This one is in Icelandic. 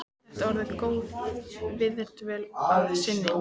Þetta er orðin góð viðdvöl að sinni.